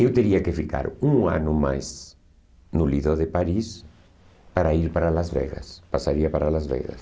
Eu teria que ficar um ano mais no Lido de Paris para ir para Las Vegas, passaria para Las Vegas.